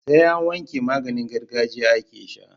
Sai an wanke maganin gargajiya ake sha